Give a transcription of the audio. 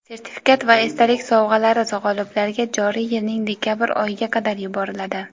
Sertifikat va esdalik sovg‘alari g‘oliblarga joriy yilning dekabr oyiga qadar yuboriladi.